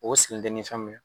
O sigilen tɛ ni fɛn min ye.